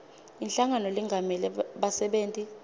inhlangano lengamela bassebenti